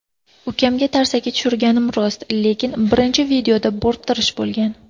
Ukamga tarsaki tushirganim rost, lekin birinchi videoda bo‘rttirish bo‘lgan.